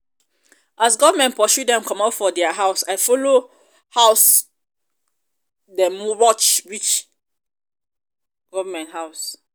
as government pursue dem comot for their house i follow house i follow dem match reach government house.